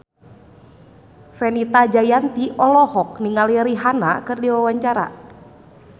Fenita Jayanti olohok ningali Rihanna keur diwawancara